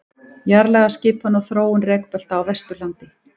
jarðlagaskipan og þróun rekbelta á vesturlandi